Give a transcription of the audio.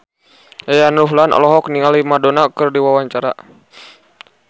Yayan Ruhlan olohok ningali Madonna keur diwawancara